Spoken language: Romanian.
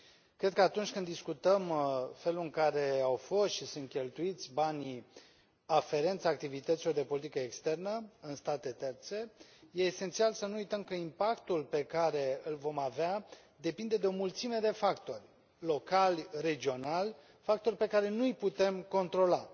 Cred că atunci când discutăm felul în care au fost și sunt cheltuiți banii aferenți activității de politică externă în state terțe, este esențial să nu uităm că impactul pe care îl vom avea depinde de o mulțime de factori locali, regionali, factori pe care nu îi putem controla.